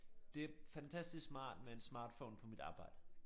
Det fantastisk smart med en smartphone på mit arbejde